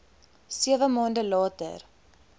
sewe maande later